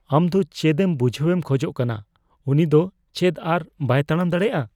ᱟᱢ ᱫᱚ ᱪᱮᱫᱮᱢ ᱵᱩᱡᱷᱦᱟᱹᱣᱮᱢ ᱠᱷᱚᱡ ᱠᱟᱱᱟ ? ᱩᱱᱤ ᱫᱚ ᱪᱮᱫ ᱟᱨ ᱵᱟᱭ ᱛᱟᱲᱟᱢ ᱫᱟᱲᱮᱭᱟᱜᱼᱟ ?